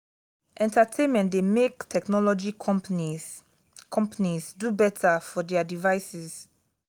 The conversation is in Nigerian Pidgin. entertainment de make technology companies companies do better for their devices